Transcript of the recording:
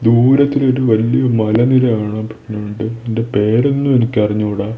ദൂരത്തിലൊരു വലിയ മലനിര കാണാം അതിൻ്റെ പേരൊന്നും എനിക്കറിഞ്ഞൂട.